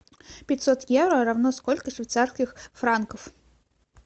пятьсот евро равно сколько швейцарских франков